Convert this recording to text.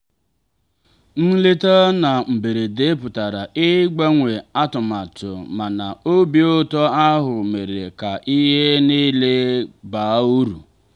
nleta na mberede pụtara ịgbanwe atụmatụ mana obi ụtọ ahụ mere ka ihe niile baa uru.